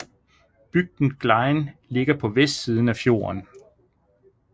Bygden Glein ligger på vestsiden af fjorden